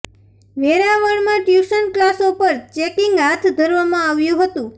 વેરાવળમા tuition કલાસો પર checking હાથ ધરવામાં આવ્યું હતુ